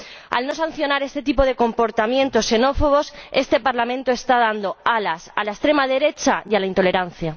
Al no sancionar este tipo de comportamientos xenófobos, este Parlamento está dando alas a la extrema derecha y a la intolerancia.